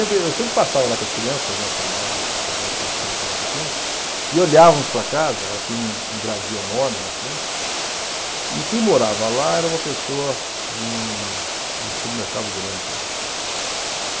eu sempre passava lá com as crianças, nessa idade, nessa época as crianças eram pequenas, e olhávamos para a casa, ela tinha um um gradil enorme na frente, e quem morava lá era uma pessoa de um de um supermercado grande aí.